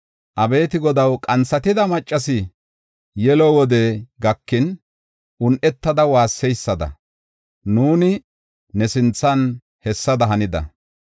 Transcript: Abeeti Godaw, qanthatida maccasi, yelo wodey gakin un7etada waasseysada, nuuni ne sinthan hessada hanida.